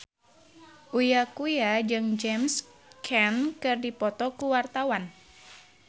Uya Kuya jeung James Caan keur dipoto ku wartawan